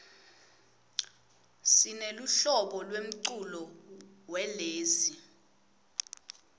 sineluhlobo lemculo welezi